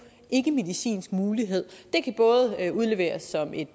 ikkemedicinsk mulighed det kan udleveres som et